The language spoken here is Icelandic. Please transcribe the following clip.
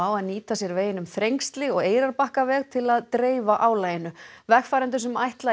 að nýta sér veginn um Þrengsli og Eyrarbakkaveg til að dreifa álaginu vegfarendum sem ætla í